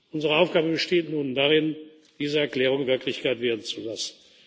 ist. Unsere Aufgabe besteht nun darin, diese Erklärung Wirklichkeit werden zu lassen.